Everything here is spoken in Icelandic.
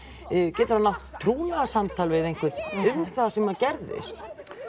getur hann átt trúnaðarsamtal við einhvern um það sem að gerðist